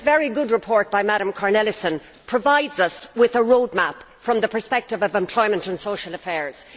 This very good report by Ms Cornelissen provides us with a roadmap from the perspective of employment and social affairs.